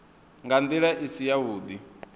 nga ndila i si yavhudi